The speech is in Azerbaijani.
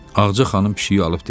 Ağaca xanım pişiyi alıb dedi: